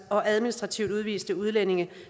og administrativt udviste udlændinge